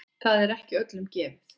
Það er ekki öllum gefið.